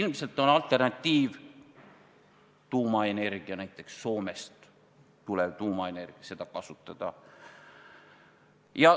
Ilmselt on alternatiiv tuumaenergia, näiteks Soomest tulev tuumaenergia, mida võiks kasutada.